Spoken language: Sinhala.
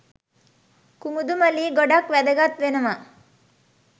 කුමුදුමලී ගොඩක් වැදගත් වෙනව